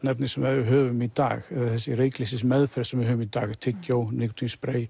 efni sem við höfum í dag þessi reykleysismeðferð sem við höfum í dag tyggjó